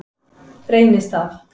Reynistað